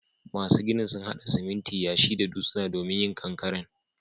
Masun ginin sun hada siminti, yashi da dutsuna domin yin ƙankaren.